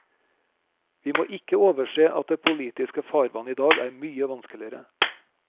Vi må ikke overse at det politiske farvann i dag er mye vanskeligere.